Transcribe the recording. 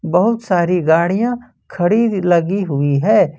बहुत सारी गाड़ियां खड़ी लगी हुई है।